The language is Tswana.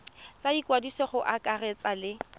tsa ikwadiso go akaretsa le